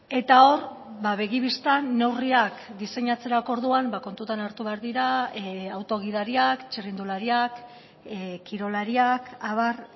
eta hor begi bistan neurriak diseinatzerako orduan kontutan hartu behar dira auto gidariak txirrindulariak kirolariak abar